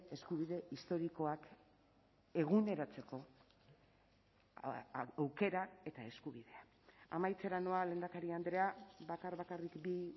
eskubide historikoak eguneratzeko aukera eta eskubidea amaitzera noa lehendakari andrea bakar bakarrik bi